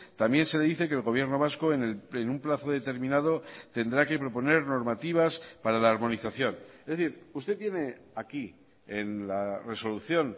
también se dice que el gobierno vasco en un plazo determinado tendrá que proponer normativas para la harmonización es decir usted tiene aquí en la resolución